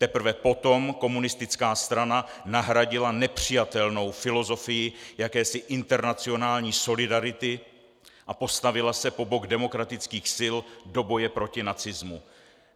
Teprve potom komunistická strana nahradila nepřijatelnou filozofii jakési internacionální solidarity a postavila se po bok demokratických sil do boje proti nacismu.